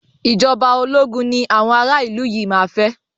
Ìjọba ológun ni àwọn ara ìlú yìí máa fẹ́.